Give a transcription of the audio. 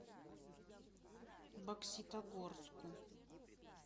бокситогорску